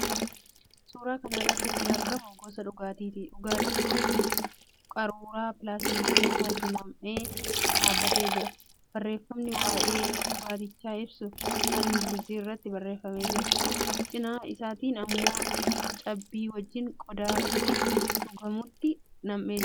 Suuraa kana irratti kan argamu gosa dhugaatiiti. Dhugaatiin kunis qaruuraa pilaastikii isaatti nam'ee dhaabbatee jira. Barreeffamni waa'ee dhugaatichaa ibsu afaan Ingiliziitiin irratti barreeffamee jira. Cina isaatiin immoo cabbii wajjin qodaa itti dhugamutti nam'ee jira.